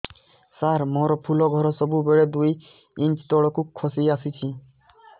ସାର ମୋର ଫୁଲ ଘର ସବୁ ବେଳେ ଦୁଇ ଇଞ୍ଚ ତଳକୁ ଖସି ଆସିଛି